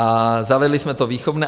A zavedli jsme to výchovné.